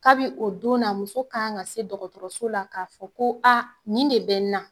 Kabi o don na muso kan ka se dɔgɔtɔrɔso la k'a fɔ ko a nin de bɛ n na.